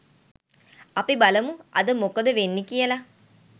අපි බලමු අද මොකද වෙන්නේ කියලා